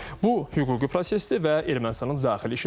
Bu hüquqi prosesdir və Ermənistanın daxili işidir.